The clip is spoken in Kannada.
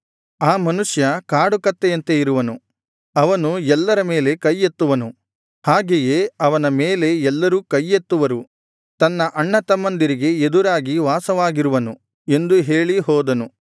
ಆ ಮನುಷ್ಯ ಕಾಡು ಕತ್ತೆಯಂತೆ ಇರುವನು ಅವನು ಎಲ್ಲರ ಮೇಲೆ ಕೈಯೆತ್ತುವನು ಹಾಗೆಯೇ ಅವನ ಮೇಲೆ ಎಲ್ಲರೂ ಕೈಯೆತ್ತುವರು ತನ್ನ ಅಣ್ಣತಮ್ಮಂದಿರಿಗೆ ಎದುರಾಗಿ ವಾಸವಾಗಿರುವನು ಎಂದು ಹೇಳಿ ಹೋದನು